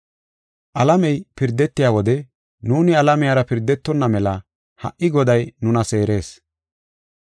Alamey pirdetiya wode nuuni alamiyara pirdetonna mela ha77i Goday nuna seerees.